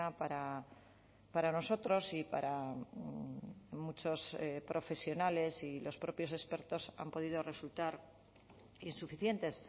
para para nosotros y para muchos profesionales y los propios expertos han podido resultar insuficientes